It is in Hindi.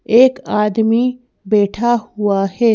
एक आदमी बैठा हुआ है।